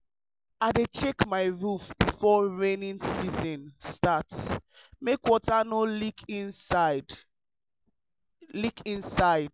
i dey check my roof before rainy season start make water no leak inside. leak inside.